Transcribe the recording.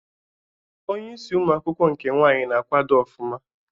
Onye isi ụmụ akwụkwọ nke nwanyị na akwado ofuma